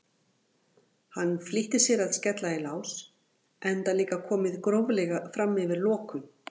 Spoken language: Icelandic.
Hann flýtti sér að skella í lás enda líka komið gróflega fram yfir lokun.